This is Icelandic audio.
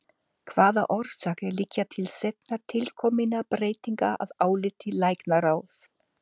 Hvaða orsakir liggja til seinna tilkominna breytinga að áliti læknaráðs?